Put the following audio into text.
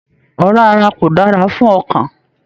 Ọra ará kò dára fún ọkàn.